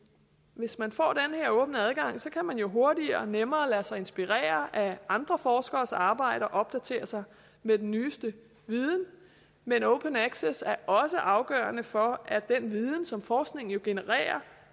hvis man får den her åbne adgang kan man jo hurtigere og nemmere lade sig inspirere af andre forskeres arbejde og opdatere sig med den nyeste viden men open access er også afgørende for at den viden som forskningen jo genererer